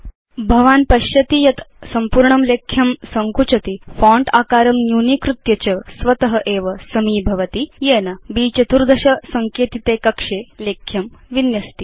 भवान् पश्यति यत् सम्पूर्णं लेख्यं सङ्कुचति फोंट आकारं न्यूनीकृत्य च स्वत एव समीभवति येन ब्14 सङ्केतिते कक्षे लेख्यं विन्यस्ति